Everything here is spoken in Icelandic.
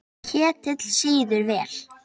Ketill sýður vel.